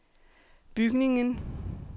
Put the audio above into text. bygningen